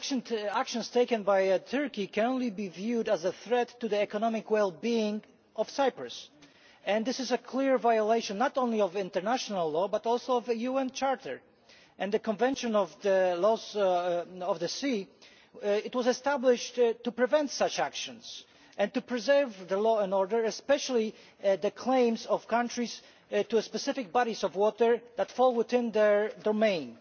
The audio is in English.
The actions taken by Turkey can only be viewed as a threat to the economic well being of Cyprus, and this is a clear violation not only of international law but also of the UN Charter and the Convention on the Law of the Sea, which was established to prevent such actions and to preserve law and order, especially the claims of countries to specific bodies of water that fall within their domain.